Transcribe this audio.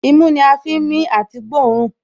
Imú ni a fi ń mí àti gbóòórùn